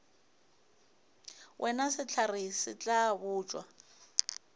wena sehlare se tla botšwa